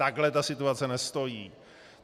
Takhle ta situace nestojí.